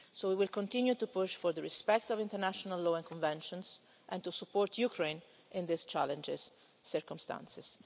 So we will continue to push for the respect of international law and conventions, and to support Ukraine in these challenging circumstances.